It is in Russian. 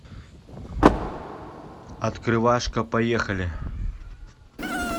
открывашка поехали